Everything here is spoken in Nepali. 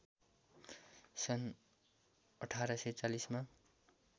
सन् १८४० मा